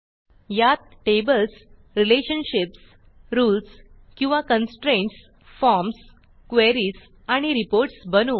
यात tables relationships rules किंवा constraints forms queries आणि रिपोर्ट्स बनवू